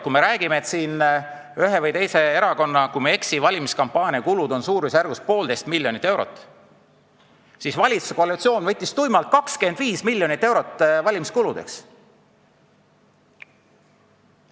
Kui me räägime, et ühe või teise erakonna valimiskampaania kulud on, kui ma ei eksi, suurusjärgus 1,5 miljonit eurot, siis valitsuskoalitsioon võttis tuimalt 25 miljonit eurot valimiskuludeks.